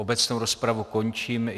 Obecnou rozpravu končím.